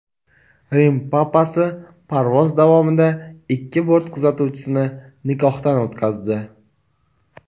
Rim papasi parvoz davomida ikki bort kuzatuvchisini nikohdan o‘tkazdi.